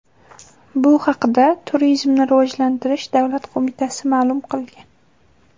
Bu haqda Turizmni rivojlantirish davlat qo‘mitasi ma’lum qilgan .